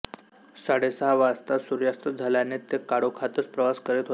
साडेसहा वाजता सूर्यास्त झाल्याने ते काळोखातच प्रवास करीत होते